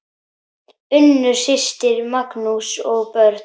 Unnur systir, Magnús og börn.